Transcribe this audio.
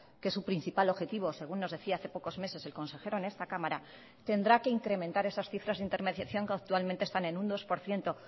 que es u principal objetivo según nos decía hace pocos meses el consejero en esta cámara tendrá que incrementar esas cifras de intermediación que actualmente están en un dos por ciento